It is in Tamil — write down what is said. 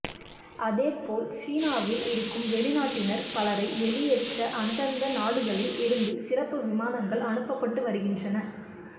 அதேபோல் சீனாவில் இருக்கும் வெளிநாட்டினர் பலரை வெளியேற்ற அந்தந்த நாடுகளில் இருந்து சிறப்பு விமானங்கள் அனுப்பப்பட்டு வருகின்றன